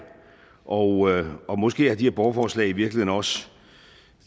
og måske har de her borgerforslag i virkeligheden også